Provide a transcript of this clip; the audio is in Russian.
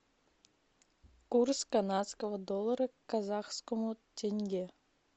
курс канадского доллара к казахскому тенге